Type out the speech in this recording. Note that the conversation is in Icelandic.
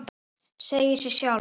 Segir sig sjálft.